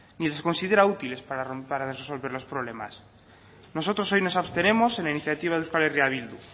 ni les considera útiles para resolver los problemas nosotros hoy nos abstenemos en la iniciativa de euskal herria bildu